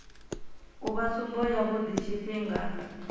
u vha tsumbo yavhui tshifhinga